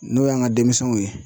N'o y'an ka denmisɛnw ye